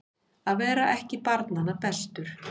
Að vera ekki barnanna bestur